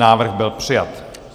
Návrh byl přijat.